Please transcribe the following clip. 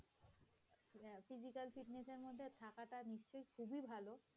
খুবি ভাল।